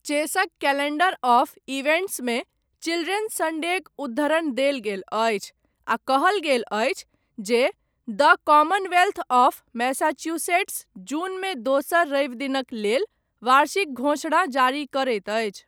चेसक calendar of इवेण्ट्समे, children सण्डेक उद्धरण देल गेल अछि, आ कहल गेल अछि, जे द कॉमनवेल्थ ऑफ मैसाचुसेट्स, जूनमे दोसर रवि दिनक लेल वार्षिक घोषणा जारी करैत अछि।